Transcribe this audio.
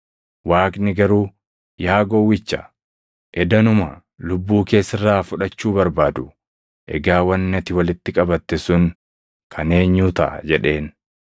“Waaqni garuu, ‘Yaa gowwicha, edanuma lubbuu kee sirraa fudhachuu barbaadu; egaa wanni ati walitti qabatte sun kan eenyuu taʼa?’ jedheen.